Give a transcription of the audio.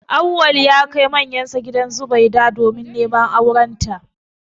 Auwal ya kai manyansa gidan Zubaida domin neman aurenta